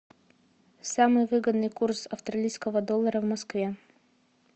самый выгодный курс австралийского доллара в москве